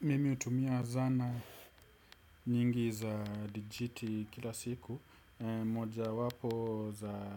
Mimi hutumia zanaa nyingi za digiti kila siku. Moja wapo za